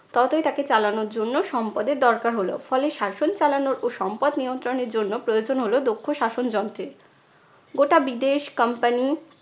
ততোই তাকে চালানোর জন্য সম্পদের দরকার হলো। ফলে শাসন চালানোর ও সম্পদ নিয়ন্ত্রণের জন্য প্রয়োজন হলো দক্ষ শাসন যন্ত্রের। গোটা বিদেশ company